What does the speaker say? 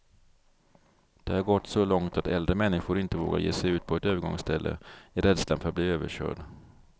Det har gått så långt att äldre människor inte vågar ge sig ut på ett övergångsställe, i rädslan för att bli överkörd.